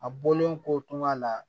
A bɔlen kɔtuma la